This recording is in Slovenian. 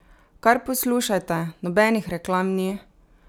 Kar poslušajte, nobenih reklam ni!